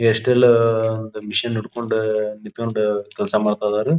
ಎಷ್ಟೇಲ್ಲಾ machine ಹಿಡಕೊಂಡು ನಿತ್ತಕೊಂಡು ಕೆಲಸ ಮಾಡತದರು.